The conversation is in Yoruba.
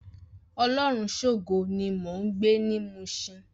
Olorunshogo ni mó n gbé ni Mushin